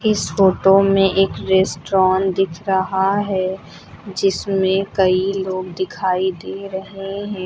इस फोटो में एक रेस्टोरेंट दिख रहा है जिसमें कई लोग दिखाई दे रहे हैं।